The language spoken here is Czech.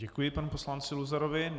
Děkuji panu poslanci Luzarovi.